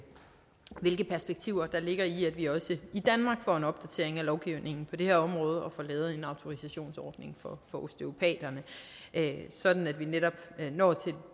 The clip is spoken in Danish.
perspektiver der ligger i at vi også i danmark får en opdatering af lovgivningen på det her område og får lavet en autorisationsordning for osteopaterne sådan at vi netop når til et